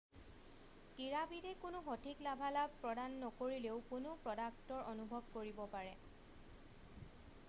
ক্ৰীড়াবিদে কোনো সঠিক লাভালাভ প্ৰদান নকৰিলেও কোনো প্ৰ'ডাক্টৰ অনুভৱ কৰিব পাৰে